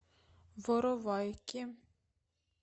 воровайки